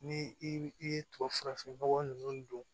Ni i ye tubabufurafin nɔgɔ ninnu don